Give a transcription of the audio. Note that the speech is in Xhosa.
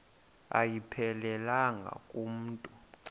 ayiphelelanga ku mntu